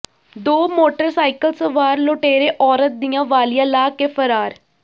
ਦੋ ਮੋਟਰਸਾਈਕਲ ਸਵਾਰ ਲੁਟੇਰੇ ਔਰਤ ਦੀਆਂ ਵਾਲ਼ੀਆਂ ਲਾਹ ਕੇ ਫਰਾਰ